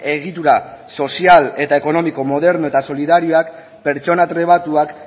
egitura sozial eta ekonomiko moderno eta solidarioak pertsona trebatuak